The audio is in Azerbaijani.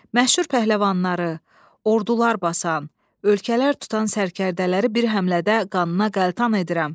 Məşhur pəhləvanları, ordular basan, ölkələr tutan sərkərdələri bir həmlədə qanına qəltan edirəm.